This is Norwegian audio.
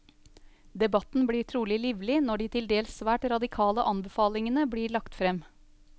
Debatten blir trolig livlig når de til dels svært radikale anbefalingene blir lagt frem.